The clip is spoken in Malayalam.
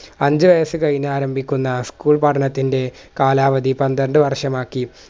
അഞ്ച് വയസ്സ് കഴിഞ്ഞാരംഭിക്കുന്ന school പഠനത്തിൻറെ കാലാവധി പന്ത്രണ്ട് വർഷമാക്കി